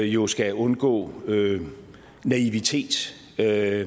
jo skal undgå naivitet det er